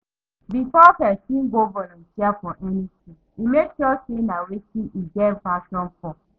Before persin go volunteer for anything e make sure say na wetin im get passion for